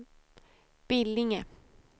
Billinge